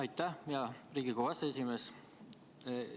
Aitäh, hea Riigikogu aseesimees!